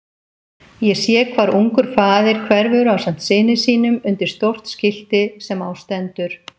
Ég sé hvar ungur faðir hverfur ásamt syni sínum undir stórt skilti sem á stendur